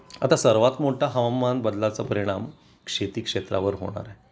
आता सर्वात मोठा हवामान बदला चा परिणाम शेती क्षेत्रावर होणार आहे